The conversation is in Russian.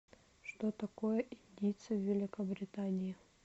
что такое индийцы в великобритании